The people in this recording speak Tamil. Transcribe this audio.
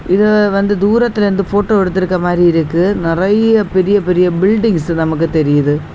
இத வந்து தூரத்திலிருந்து ஃபோட்டோ எடுத்திருக்க மாறி இருக்கு. நெறைய பெரிய பெரிய பில்டிங்ஸ் நமக்கு தெரியுது.